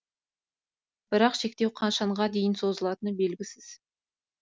бірақ шектеу қашанға дейін созылатыны белгісіз